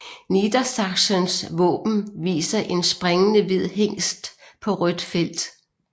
Niedersachsens våben viser en springende hvid hingst på rødt felt